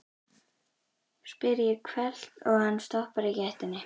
spyr ég hvellt, svo hann stoppar í gættinni.